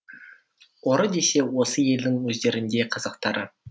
ұры десе осы елдің өздеріндей қазақтары